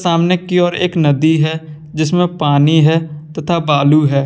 सामने की ओर एक नदी है जिसमें पानी है तथा बालू है।